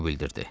O bildirdi.